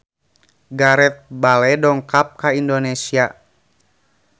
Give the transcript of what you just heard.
Gareth Bale dongkap ka Indonesia